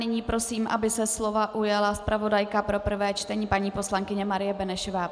Nyní prosím, aby se slova ujala zpravodajka pro prvé čtení paní poslankyně Marie Benešová.